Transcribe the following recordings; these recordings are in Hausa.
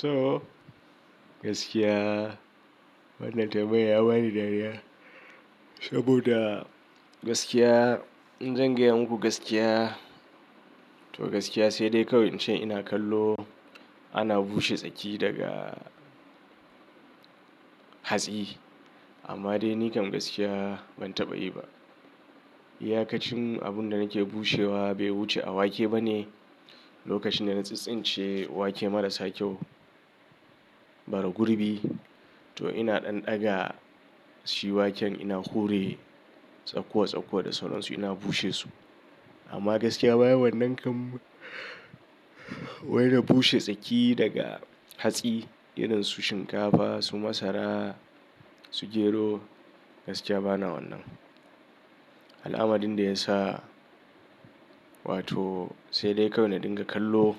To gaskiya wannan tambayar ya bani dariya saboda gaskiya, in zan gaya muku gaskiya to gaskiya sai dai kawai in ce ina kallo ana bushe tsaki daga hatsi. Amma dai ni kam gaskiya ban taɓa yi ba. Yakacin abun da nake bushewa bai wuce a wake ba ne. Lokacin da na tsintsince wake marasa kyau, bara gurbi to ina ɗan daga shi waken ina hure tsakuwa tsakuwa da sauran su ina bushe su. Amma gaskiya baya wannan kam, wai da bushe tsaki daga hatsi irin su shinkafa, su masara, su gero gaskiya bana wannan. Al'amarin da ya sa, wato sai dai kawai na dinga kallo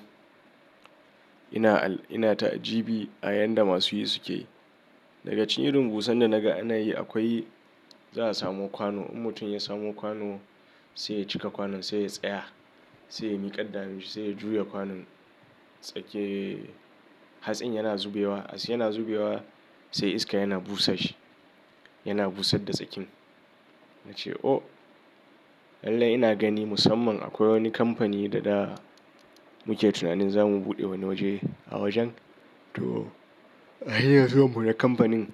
ina, ina ta'ajibi ayanda masu yi suke. Daga cin irin busan da na ga ana yi akwai za a samo kwano. In mutum ya samo kwano sai ya cika kwanon sai ya tsaya, sai ya miƙaɗɗa hanunshi sai ya juya kwanon. Tsake hatsin yana zubewa, yana zubewa sai iska yana busa shi, yana busar da tsakin. Na ce oh, lallai ina gani musamman akwai wani kamfani da da muke tunanin za mu buɗe wani waje a wajen. To a hayyan zuwan mu na kamfanin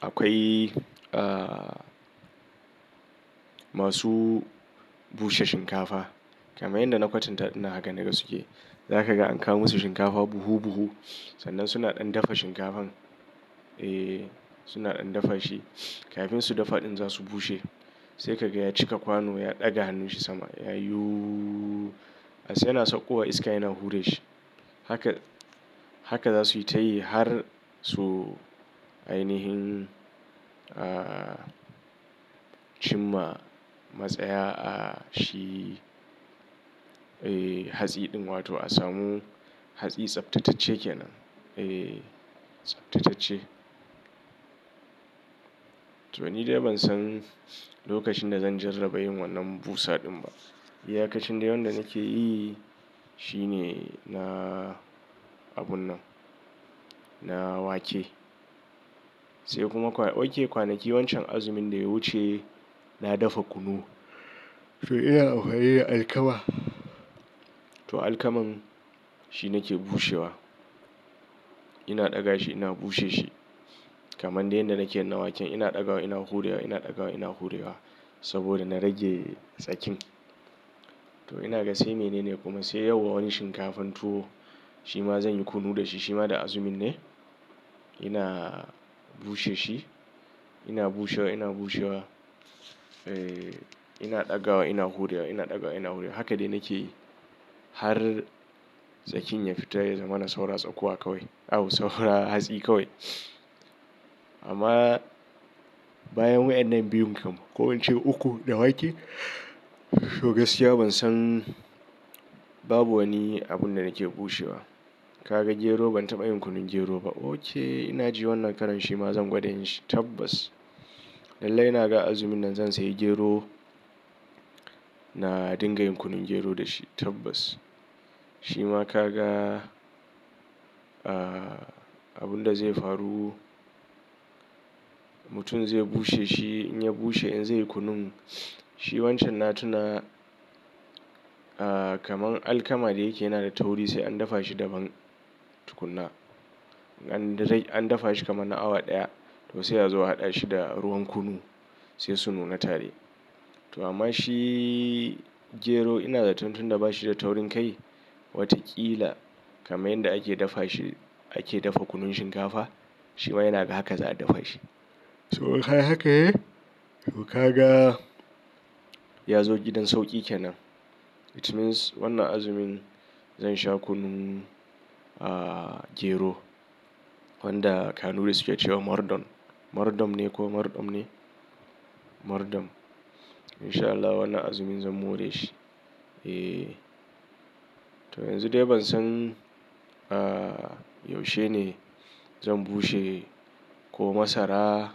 akwai, ah masu bushe shinkafa. Kamar yadda na kwatanta dinnan haka naga suke. Za ka ga an kawo musu shinkafa buhu buhu. Sannan suna ɗan dafa shinkafan. Eh suna ɗan dafa shi. Kafin su dafa ɗin za su bushe. Sai ka ga ya cika kwano ya ɗaga hannun shi sama yayi uuuh. Hatsin yana sauƙowa iska yana hure shi. Haka, haka za su yi ta yi har so ainihin, ah cimma matsaya a shi. Eh hatsi ɗin wato a samu hatsi tsaftatacce kenan. Eh tsaftatacce. To ni dai ban san lokacin da zan jarraba yin wannan busa ɗin ba. Yakacin dai wanda nake yi shine na abun nan, na wake. Sai kuma kwa ok kwanaki wancan azumin da ya wuce na dafa kunu. To ina anfani da alkama. To alkaman shi nake bushewa. Ina ɗaga shi ina bushe shi. Kamar dai yanda nake yi na waken ina ɗaga wa ina hurewa ina ɗaga wa ina hurewa saboda na rage tsakin. To ina gasai menene kuma sai yau wa wani shinkafan tuwo shi ma zan yi kunu da shi. Shi ma da azumin ne ina bushe shi. Ina bushewa ina bushewa. Eh ina ɗaga wa ina hurewa ina ɗaga ina hurewa. Haka dai nake yi har tsakin ya fita ya zama na saura tsakuwa kawai. Au saura hatsi kawai. Amma bayan wa'yan nan biyun kam ko in ce uku da wake to gaskiya ban san babu wani abun da nake bushewa. Kaga gero ban taɓa yin kunun gero ba. Oke ina ji wannan karan shi ma zan gwada yin shi tabbas. Lallai ina ga azumin nan zan sayi gero na dinga yin kunun gero da shi tabbas. Shi ma ka ga ah abun da zai faru mutum zai bushe shi in ya bushe in zai yi kunun shi wancan na tuna ah kamar alkama da yake yana da tauri sai an dafa shi daban tukuna. An dai an dafa shi kamar na awa ɗaya to sai a zo a haɗa shi da ruwan kunu sai su nuna tare. To amma shi gero ina zaton tun da ba shi da taurin kai wataƙila kamar yanda ake dafa shi ake dafa kunun shinkafa shi ma ina ga haka za a dafa shi. To kai haka eh to ka ga ya zo gidan sauƙi kenan. It means wannan azumin zan sha kunun ah gero wanda Kanuri suke cewa mardon. Mardon ne ko mardoɓ ne? Mardon. In sha Allah wannan azumin zan more shi. Eh to yanzu dai ban san ah yaushe ne zan bushe ko masara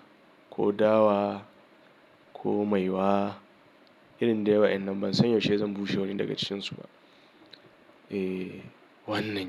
ko dawa ko maiwa. Irin dai wa 'yan nan ban san yaushe zan bushe wani daga cikin su ba. Eh wannan.